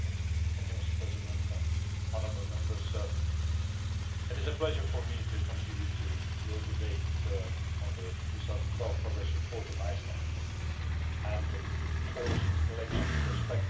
Mr President, honourable Members, it is a pleasure for me to contribute to your debate on the 2012 progress report on Iceland and the post election perspectives.